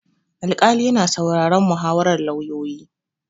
Alƙali yana sauraron muhawarar lauyoyi.